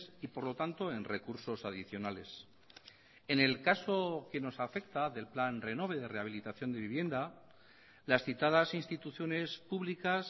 y por lo tanto en recursos adicionales en el caso que nos afecta del plan renove de rehabilitación de vivienda las citadas instituciones públicas